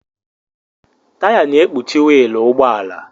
Taya na-ekpuchi wiilụ ụgbọala.